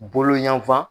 Bolo yanfan